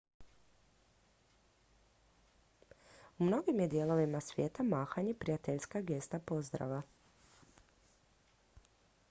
u mnogim je dijelovima svijeta mahanje prijateljska gesta pozdrava